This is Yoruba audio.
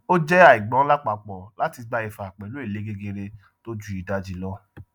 o jé àigbọn lápapò láti gba ìfà pẹlú èlé gegere tó ju ìdajì lọ